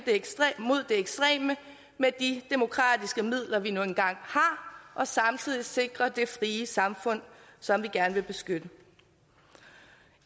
mod det ekstreme med de demokratiske midler vi nu engang har og samtidig sikre det frie samfund som vi gerne vil beskytte